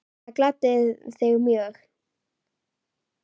Það gladdi þig mjög.